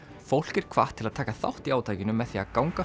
fólk er hvatt til að taka þátt í átakinu með því að ganga